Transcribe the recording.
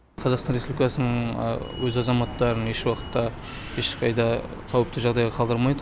қазақстан республикасының өз азаматтарын ешуақытта ешқайда қауіпті жағдайға қалдырмайды